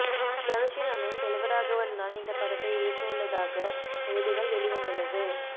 தனுஷின் அண்ணன் செல்வராகவன் தான் இந்த படத்தை இயக்கவுள்ளதாக செய்திகள் வெளிவந்துள்ளது